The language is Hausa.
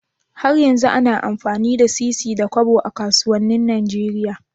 Har yanzu ana amfani da sisi da Kobo a kasuwanin Nigeria?